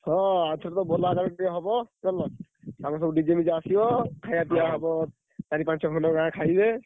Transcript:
ହଁ ଆରଥରତ ଭଲ ଆକାରରେ ଟିକେ ହବ DJ ଫିଜେ ଆସିବ ଖାଇବା ପିଇବା ହବ ଚାରି ପାଞ୍ଚ ଖଣ୍ଡ ଗାଁ ଖାଇବେ।